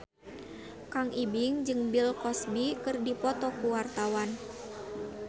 Kang Ibing jeung Bill Cosby keur dipoto ku wartawan